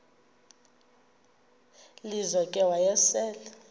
lizo ke wayesel